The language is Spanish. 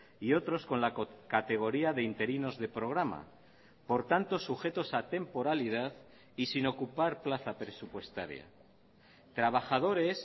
y otros con la categoría de interinos de programa por tanto sujetos a temporalidad y sin ocupar plaza presupuestaria trabajadores